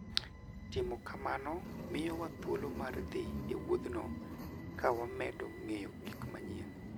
Timo kamano miyowa thuolo mar dhi e wuodhno ka wamedo ng'eyo gik manyien.